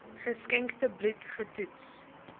geskenkte bloed getoets